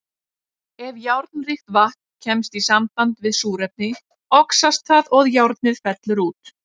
Ef járnríkt vatn kemst í samband við súrefni, oxast það og járnið fellur út.